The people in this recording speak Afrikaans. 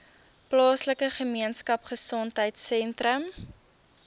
plaaslike gemeenskapgesondheid sentrum